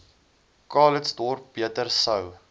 calitzdorp beter sou